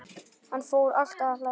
Hann fór alltaf að hlæja.